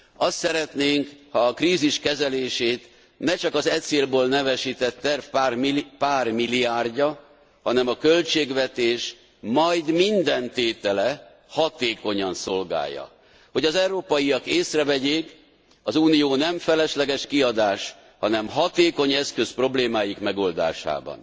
Azt szeretnénk, ha a krízis kezelését ne csak az e célból nevesített terv pár milliárdja, hanem a költségvetés majd minden tétele hatékonyan szolgálja, hogy az európaiak észrevegyék, az Unió nem felesleges kiadás, hanem hatékony eszköz problémáik megoldásában.